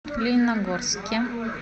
лениногорске